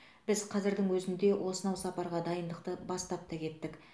біз қазірдің өзінде осынау сапарға дайындықты бастап та кеттік